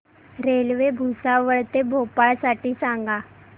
railway Bhusawal ते भोपाळ साठी सांगा